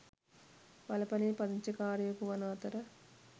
වලපනේ පදිංචිකාරයකු වන අතර